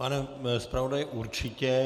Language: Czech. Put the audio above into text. Pane zpravodaji, určitě.